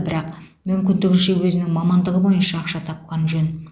бірақ мүмкіндігінше өзінің мамандығы бойынша ақша тапқан жөн